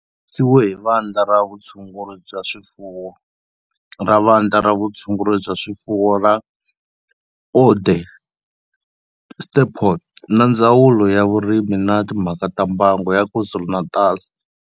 Kandziyisiwe hi Vandla ra Vutshunguri byaswifuwo ra Vandla ra Vutshunguri bya swifuwo ra Onderstpoort na Ndzawulo yaVurimi na Timhaka ta Mbango ya KwaZulu-Natal.